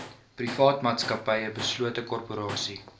privaatmaatsappy beslote korporasie